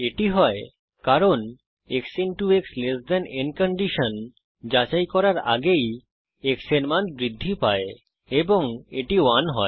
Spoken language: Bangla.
এটি হয় কারণ x x ল্ট n কন্ডিশন যাচাই করার আগেই x এর মান বৃদ্ধি পায় এবং এটি 1 হয়